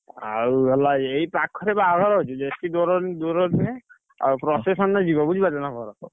ଆଉ ଗଲା ଏଇ ପାଖରେ ବାହାଘର ହଉଛି, ବେଶୀ ଦୂର ନୁହେଁ। ଆଉ procession ରେ ଯିବ ବୁଝି ପାରୁଛ ନା କଣ?